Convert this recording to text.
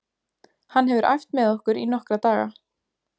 Hann hefur æft með okkur í nokkra daga.